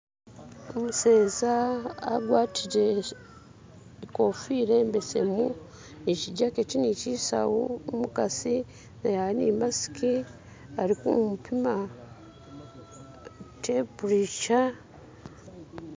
Umuseeza agwatire inkofiira imbesemu ni shijaketi ni shisawu, umukasi naye ali ni masiki ali kumupima temperature.